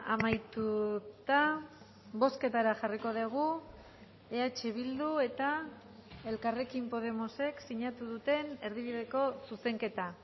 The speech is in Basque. amaituta bozketara jarriko dugu eh bildu eta elkarrekin podemosek sinatu duten erdibideko zuzenketa